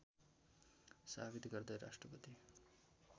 साबित गर्दै राष्ट्रपति